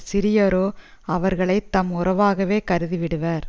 சிறியாரோ அவர்களை தம் உறவாகவே கருதி விடுவர்